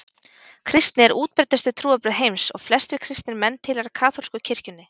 kristni er útbreiddustu trúarbrögð heims og flestir kristnir menn tilheyra kaþólsku kirkjunni